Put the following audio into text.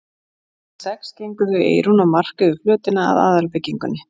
Klukkan sex gengu þau Eyrún og Mark yfir flötina að aðalbyggingunni.